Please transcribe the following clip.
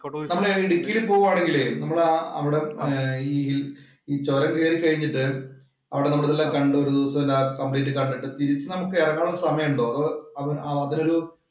നമ്മള് ഇടുക്കിയില് പോവുവാണെങ്കിലെ നമ്മള് ആ അവിടെ ആ ഈ ചൊരം കേറി കഴിഞ്ഞിട്ടേ അവിടെ നമ്മള് എല്ലാം കണ്ടു ഒരു ദിവസം രാകംപ്ലീറ്റ്‌ കണ്ടിട്ട് തിരിച്ച് നമുക്ക് എറങ്ങാനുള്ള സമയോണ്ടോ. അതോ അതില് ഒരു